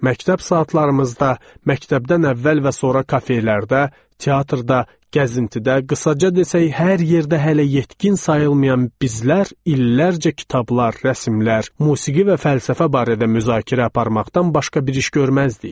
Məktəb saatlarımızda, məktəbdən əvvəl və sonra kafelərdə, teatrda, gəzintidə, qısaca desək, hər yerdə hələ yetkin sayılmayan bizlər illərcə kitablar, rəsmlər, musiqi və fəlsəfə barədə müzakirə aparmaqdan başqa bir iş görməzdik.